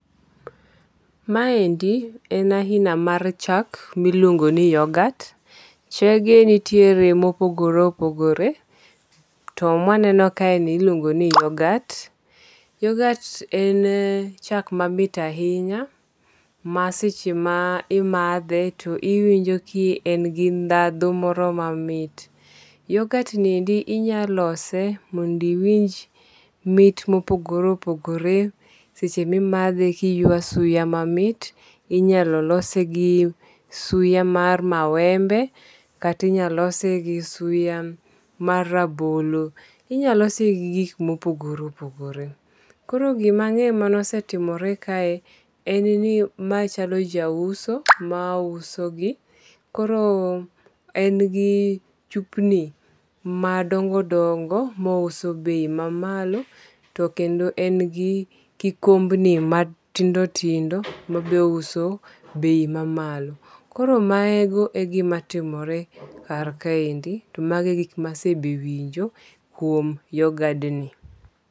Maendi en aina mar chak miluongo ni yogat. Chege nitiere mopogore opogore. To mwaneno kaendi ni iluongo ni yogat. Yogat en chak mamit ahinya ma seche ma imadhe to iwinjo ki en gi dhadho moro mamit. Yogat ni endi inya lose mond iwinj mit mopogore opogore seche mimadhe kiywa suya mamit. Inyalo lose gi suya mar mawembe kata inya lose gi suya mar rabolo. Inyalose gi gik mopogore opogore. Koro gimang'eyo mane osetimore kae en ni ma chalo jauso ma uso gi. Koro en gi chupni madongo dongo ma ouso bei ma mamalo to kendo en gi kikombni matindo tindo mabe ouso bei ma malo. Koro mago e gima timore kar kaendi to mago be gik masewinjo kuom yogadni.